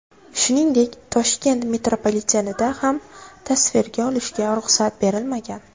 Shuningdek, Toshkent metropolitenida ham tasvirga olishga ruxsat berilmagan.